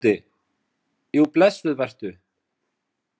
BÓNDI: Jú, blessuð vertu.